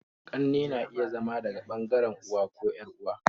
Ƙannena iya zama daga bangaren dan'uwa ko yar'uwa